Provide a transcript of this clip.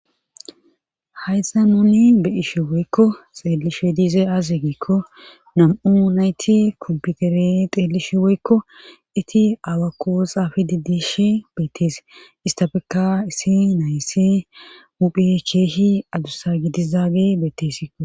hayzanooni be7ishe woykko xeellishe diize aaze giekko nam7u nayti komputere xeelishi woykko iti alakoo xaafi didishi beetese istafeka isi naysi muphe keehi adussa gidizaage beettesiko